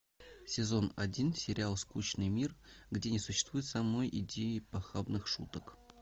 сезон один сериал скучный мир где не существует самой идеи похабных шуток